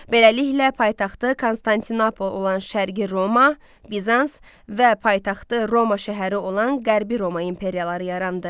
Beləliklə paytaxtı Konstantinopol olan Şərqi Roma, Bizans və paytaxtı Roma şəhəri olan Qərbi Roma imperiyaları yarandı.